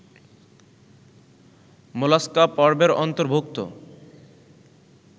mollusca পর্বের অন্তর্ভুক্ত